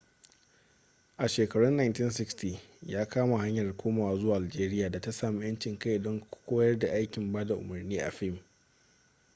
a shekarun 1960 ya kama hanyar komawa zuwa algeria da ta sami 'yancin kai don koyar da aikin bada umarni a fim